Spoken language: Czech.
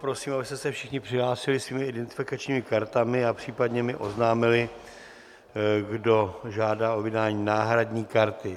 Prosím, abyste se všichni přihlásili svými identifikačními kartami a případně mi oznámili, kdo žádá o vydání náhradní karty.